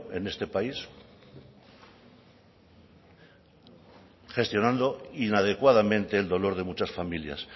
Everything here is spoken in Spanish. en este país gestionando inadecuadamente el dolor de muchas familias